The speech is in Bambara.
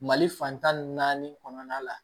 Mali fantan ni naani kɔnɔna la